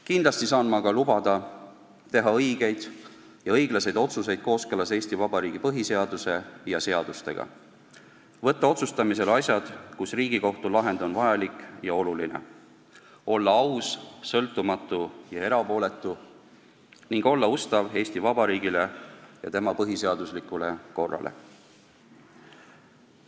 " Kindlasti aga saan ma lubada teha õigeid ja õiglasi otsuseid kooskõlas Eesti Vabariigi põhiseaduse ja seadustega, võtta otsustamisele asjad, kus Riigikohtu lahend on vajalik ja oluline, olla aus, sõltumatu ja erapooletu ning olla ustav Eesti Vabariigile ja tema põhiseaduslikule korrale.